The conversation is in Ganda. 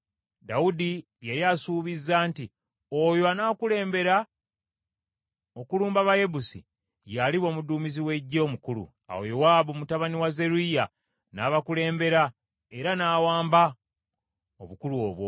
Dawudi yali asuubizza nti, “Oyo anaakulembera okulumba Abayebusi, ye aliba Omuduumizi w’eggye omukulu.” Awo Yowaabu mutabani wa Zeruyiya n’abakulembera era n’aweebwa obukulu obwo.